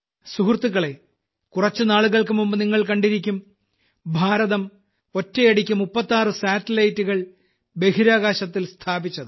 സുഹൃത്തുക്കളെ കുറച്ചു നാളുകൾക്കു മുമ്പ് നിങ്ങൾ കണ്ടിരിക്കും ഭാരതം ഒറ്റയടിക്ക് 36 സാറ്റലൈറ്റുകൾ ബഹിരാകാശത്തിൽ സ്ഥാപിച്ചത്